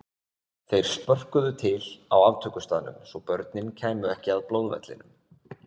Þeir spörkuðu til á aftökustaðnum svo börnin kæmu ekki að blóðvellinum.